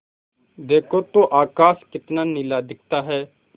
देखो तो आकाश कितना नीला दिखता है